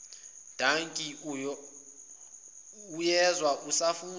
dankie uyezwa usafuna